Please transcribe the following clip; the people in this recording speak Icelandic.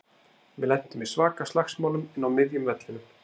Við lentum í svaka slagsmálum inn á miðjum vellinum.